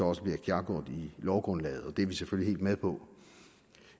også bliver klargjort i lovgrundlaget det er vi selvfølgelig med på